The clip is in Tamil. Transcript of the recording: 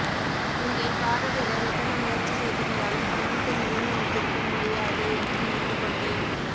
இங்கே காரவேலர் எத்தனை முயற்சி செய்திருந்தாலும் சமணத்தை நிலைநிறுத்திருக்க முடியாது என்று நினைத்துக்கொண்டேன்